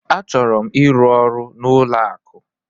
Achọrọ m ịrụ ọrụ n'ụlọ akụ.